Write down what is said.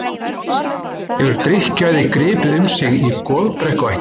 Hefur drykkjuæði gripið um sig í Goðbrekkuættinni?